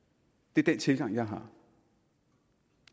det er den tilgang jeg har